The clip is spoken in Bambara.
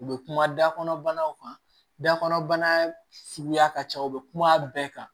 U bɛ kuma da kɔnɔ banaw kan dabana suguya ka ca u bɛ kuma bɛɛ kan